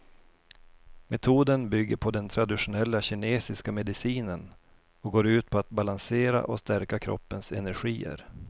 Metoden bygger på den traditionella kinesiska medicinen och går ut på att balansera och stärka kroppens energier.